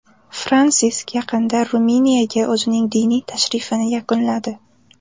Fransisk yaqinda Ruminiyaga o‘zining diniy tashrifini yakunladi.